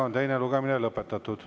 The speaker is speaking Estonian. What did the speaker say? Teine lugemine on lõpetatud.